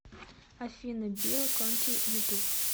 афина билл конти ютуб